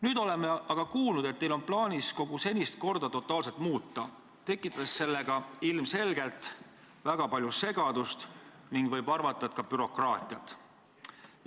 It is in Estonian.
Nüüd oleme aga kuulnud, et teil on plaanis kogu senist korda totaalselt muuta, tekitades sellega ilmselgelt väga palju segadust ning võib arvata, et ka bürokraatiat.